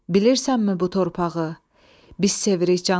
Bilirsənmi bu torpağı, biz sevirik canımız tək.